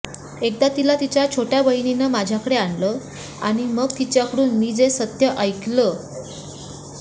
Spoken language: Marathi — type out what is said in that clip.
एकदा तिला तिच्या छोटय़ा बहिणीनं माझ्याकडे आणलं आणि मग तिच्याकडून मी जे सत्य ऐकलं